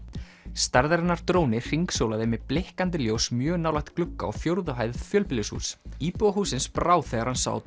stærðarinnar dróni hringsólaði með blikkandi ljós mjög nálægt glugga á fjórðu hæð fjölbýlishúss íbúa hússins brá þegar hann sá